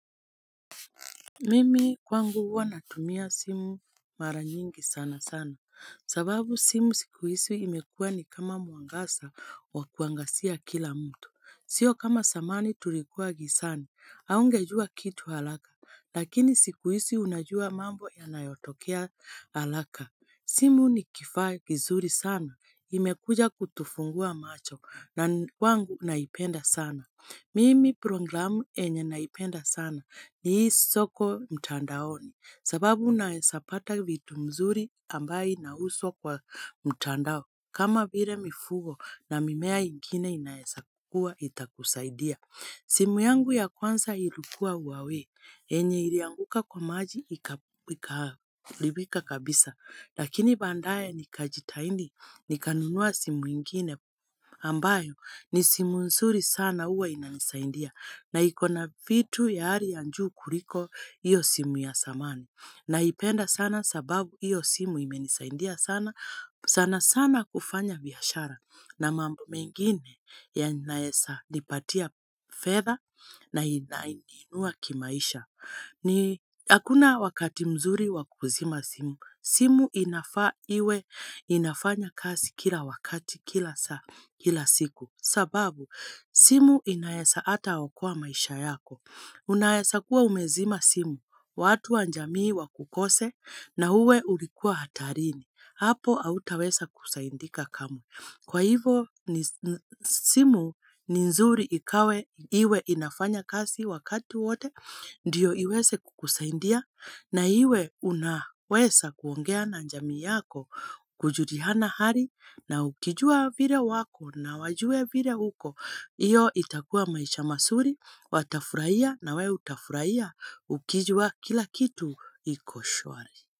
Mimi kwangu huwa natumia simu maranyingi sana sana, sababu simu sikuhizi imekuwa ni kama muangaza wa kuangazia kila mtu. Sio kama zamani tulikuwa gizani, haungejua kitu haraka, lakini siku hizi unajua mambo yanayotokea haraka. Simu ni kifaa kizuri sana, imekuja kutufungua macho, na kwangu naipenda sana. Mimi programu enye naipenda sana ni hii soko mtandaoni sababu unaezapata vitu mzuri ambaye nauzwa kwa mtandao kama vile mifugo na mimea ingine inaezakuwa itakusaidia. Simu yangu ya kwanza ilukua Huwawei, enye ilianguka kwa maji ikaharibika kabisa, lakini baadae nikajitahidi nikanunua simu ingine ambayo ni simu nzuri sana huwa inanisaidia na iko na vitu ya hali ya njuu kuliko hiyo simu ya zamani. Naipenda sana sababu hiyo simu imenisaidia sana, sana sana kufanya biashara na mambo mengine yanaeza nipatia fedha na inaniinua kimaisha. Ni hakuna wakati mzuri wakuzima simu, simu inafaa iwe inafanya kazi kila wakati kila saa, kila siku sababu simu inaeza ata okoa maisha yako. Unaeza kuwa umezima simu, watu anjamii wakukose na uwe ulikuwa hatarini, hapo hautawesa kusaindika kamwe. Kwa hivo ni simu ni nzuri ikawe iwe inafanya kazi wakati wote ndiyo iweze kukusaidia na iwe unaweza kuongea na jamii yako kujuliana hali na ukijua vile wako na wajue vile uko. Iyo itakua maisha mazuri watafurahia na wewe utafurahia ukijua kila kitu iko shwari.